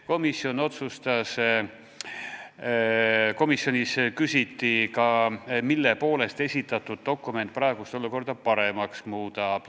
Komisjonis küsiti ka, kuidas esitatud dokument praegust olukorda paremaks muudab.